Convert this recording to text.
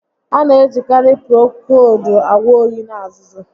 A na ejikarị Prokoowudu agwọ óyi na azụzụ